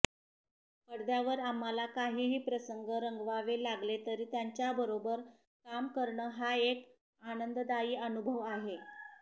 पडद्यावर आम्हाला काहीही प्रसंग रंगवावे लागले तरी त्यांच्याबरोबर काम करणं हा एक आनंददायी अनुभव आहे